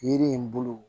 Yiri in bolo